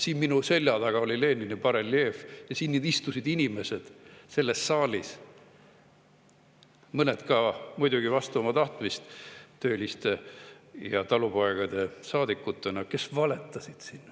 Siin minu selja taga oli Lenini bareljeef ja selles saalis istusid inimesed – mõned ka muidugi vastu oma tahtmist tööliste ja talupoegade saadikutena –, kes valetasid.